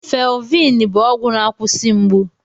Felviin bụ ọgwụ na-akwụsị mgbu.